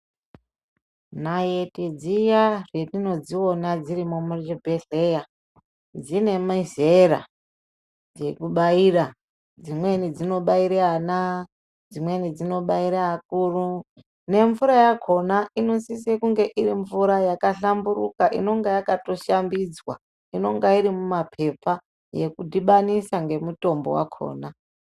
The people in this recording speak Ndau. Naiti dziya hetinodziona dzirimo muzvibhedhlera dzine mizera dzekubaira, dzimweni dznobaire ana dzimweni dzinobaire akuru nemvura yakona inosise kunge irimvura yakahlamburuka inonga yakatoshambidzwa, inonga irimumapepa yokudhibanisa ngemutombo wakona.